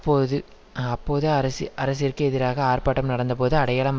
ப்போது அப்போது அரசு அரசிற்கு எதிராக ஆர்பாட்டம் நடந்தபோது அடையாளம்